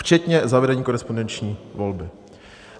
Včetně zavedení korespondenční volby."